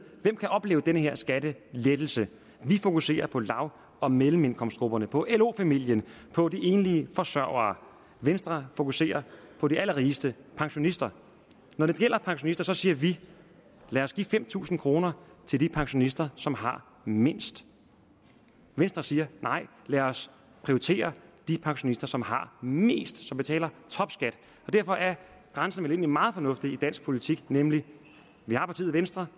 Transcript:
hvem kan opleve den her skattelettelse vi fokuserer på lav og mellemindkomstgrupperne på lo familien på de enlige forsørgere venstre fokuserer på de allerrigeste pensionister når det gælder pensionister siger vi lad os give fem tusind kroner til de pensionister som har mindst venstre siger nej lad os prioritere de pensionister som har mest som betaler topskat derfor er grænsen vel egentlig meget fornuftig i dansk politik nemlig vi har partiet venstre